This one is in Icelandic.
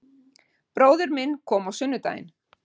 Bróðir minn kom á sunnudaginn